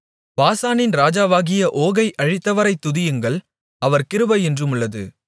பாசானின் ராஜாவாகிய ஓகை அழித்தவரைத் துதியுங்கள் அவர் கிருபை என்றுமுள்ளது